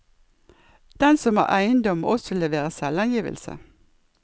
Den som har eiendom, må også levere selvangivelse.